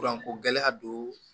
Furako gɛlɛya do